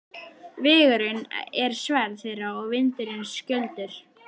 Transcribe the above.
Vegurinn er sverð þeirra og vindurinn skjöldur.